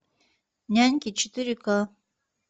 няньки четыре ка